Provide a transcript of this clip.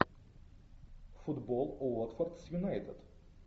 футбол уотфорд с юнайтед